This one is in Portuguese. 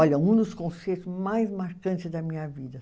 Olha, um dos concertos mais marcantes da minha vida.